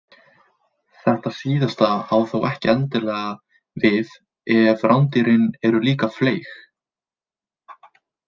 Þetta síðasta á þó ekki endilega við ef rándýrin eru líka fleyg.